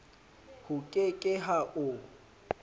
ho ke ke ha o